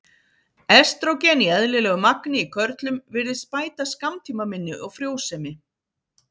Estrógen í eðlilegu magni í körlum virðist bæta skammtímaminni og frjósemi.